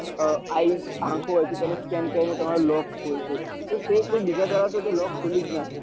eye આંખો હોય છે તેને સ્કેન કરીને તમારું લોક ખોલે છે તે બીજા દર લોક ખુલી જ ના સકે